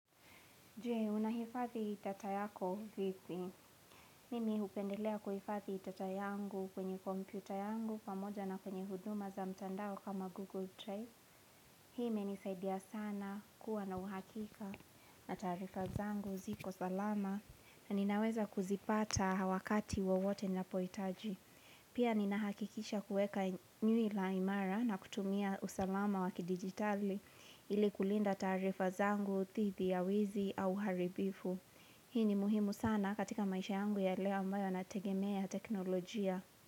Je, unahifadhi data yako vipi? Mimi hupendelea kuhifadhi data yangu kwenye kompyuta yangu pamoja na kwenye huduma za mtandao kama Google Drive. Hi imenisaidia sana kuwa na uhakika na taarifa zangu ziko salama na ninaweza kuzipata wakati wawote ninapohitaji. Pia ninahakikisha kuweka nywila imara na kutumia usalama wa kidigitali ili kulinda taarifa zangu, dhidi ya wizi au uharibifu. Hii ni muhimu sana katika maisha yangu ya leo ambayo yanategemea teknolojia.